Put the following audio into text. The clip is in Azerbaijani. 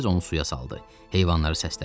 Tez onu suya saldı, heyvanları səslədi.